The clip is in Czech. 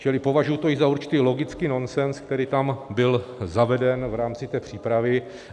Čili považuji to i za určitý logický nonsens, který tam byl zaveden v rámci té přípravy.